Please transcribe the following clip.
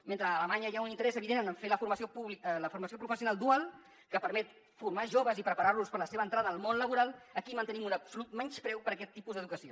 mentre a alemanya hi ha un interès evident en fer la formació professional dual que permet formar joves i preparar los per a la seva entrada al mon laboral aquí mantenim un absolut menyspreu per a aquest tipus d’educació